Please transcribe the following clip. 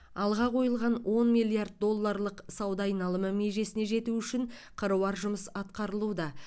алға қойылған он миллиард долларлық сауда айналымы межесіне жету үшін қыруар жұмыс атқарылуда